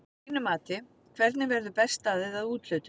Að þínu mati hvernig verður best staðið að úthlutun?